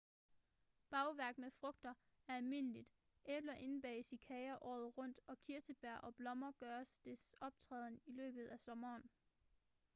bagværk med frugt er almindeligt æbler indbages i kager året rundt og kirsebær og blommer gør deres optræden i løbet af sommeren